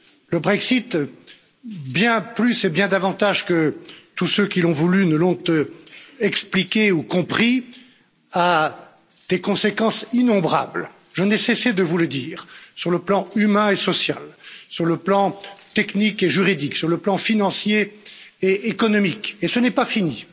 Le Brexit, bien plus et bien davantage que tous ceux qui l'ont voulu nous l'ont expliqué ou compris, a des conséquences innombrables je n'ai cessé de vous le dire sur le plan humain et social, sur le plan technique et juridique, sur le plan financier et économique, et ce n'est pas fini.